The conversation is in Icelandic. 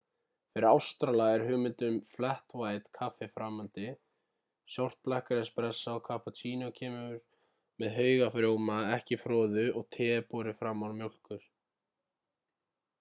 fyrir ástrala er hugmyndin um flat white kaffi framandi. short black er espressó cappuccino kemur með haug af rjóma ekki froðu og te er borið fram án mjólkur